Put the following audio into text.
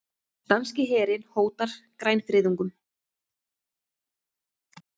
Danski herinn hótar grænfriðungum